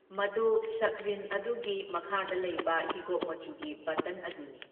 ꯃꯗꯨ ꯁꯛꯔꯤꯟ ꯑꯗꯨꯒꯤ ꯃꯈꯥꯗ ꯂꯩꯕ ꯍꯤꯒꯣꯛ ꯃꯆꯨꯒꯤ ꯕꯇꯟ ꯑꯗꯨꯅꯤ꯫